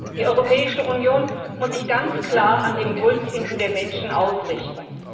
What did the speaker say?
Die Europäische Union muss sich ganz klar am Wohlbefinden der Menschen ausrichten.